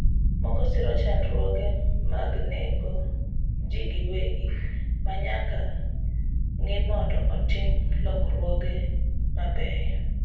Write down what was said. Moko siro chandruoge mag nengo ji giwegi ma nyaka ng'i mondo otim lokruoge mabeyo